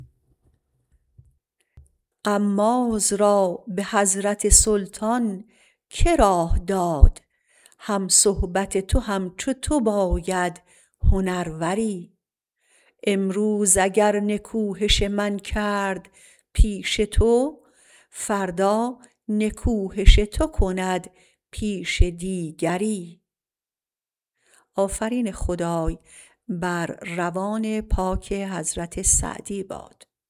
غماز را به حضرت سلطان که راه داد هم صحبت تو همچو تو باید هنروری امروز اگر نکوهش من کرد پیش تو فردا نکوهش تو کند پیش دیگری